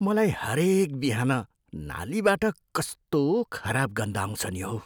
मलाई हरेक बिहान नालीबाट कस्तो खराब गन्ध आउँछ नि हौ।